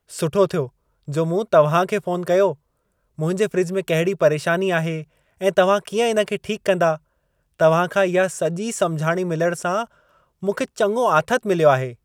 सुठो थियो जो मूं तव्हां खे फ़ोन कयो। मुंहिंजे फ्रिज में कहिड़ी परेशानी आहे ऐं तव्हां कीअं इन खे ठीकु कंदा, तव्हां खां इहा सॼी समुझाणी मिलण सां मूंखे चङो आथतु मिलियो आहे।